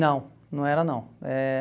Não, não era não. Eh